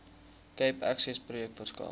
cape accessprojek verskaf